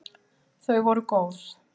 Þau voru góð!